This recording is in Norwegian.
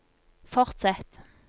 fortsett